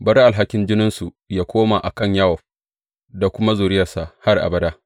Bari alhakin jininsu yă koma a kan Yowab da kuma zuriyarsa har abada.